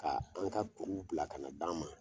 Ka an ka kuruw bila ka na d'an ma